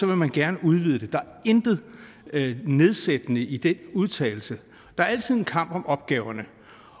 man gerne udvide det der er intet nedsættende i den udtalelse der er altid en kamp om opgaverne